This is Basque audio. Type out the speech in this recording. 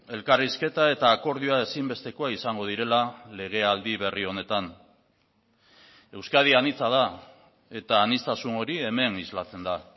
elkarrizketa eta akordioa ezinbestekoa izango direla legealdi berri honetan euskadi anitza da eta aniztasun hori hemen islatzen da